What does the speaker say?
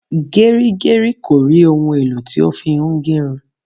Gerigeri kò rí òun èlò tí ó fi ń gerun